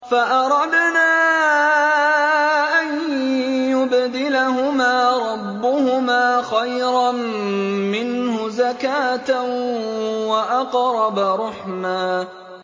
فَأَرَدْنَا أَن يُبْدِلَهُمَا رَبُّهُمَا خَيْرًا مِّنْهُ زَكَاةً وَأَقْرَبَ رُحْمًا